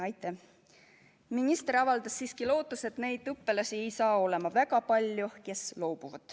Minister avaldas siiski lootust, et neid õpilasi, kes loobuvad, ei saa olema väga palju.